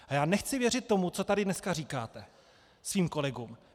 A já nechci věřit tomu, co tady dneska říkáte svým kolegům.